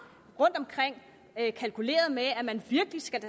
kalkuleret med at man virkelig skal